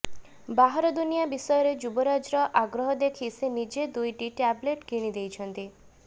ବାହାର ଦୁନିଆ ବିଷୟରେ ଯୁବରାଜର ଆଗ୍ରହ ଦେଖି ସେ ନିଜେ ଦୁଇଟି ଟ୍ୟାବ୍ଲେଟ୍ କିଣି ଦେଇଛନ୍ତି